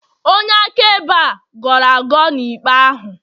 onye akaebe a gọrọ agọ na ikpe ahụ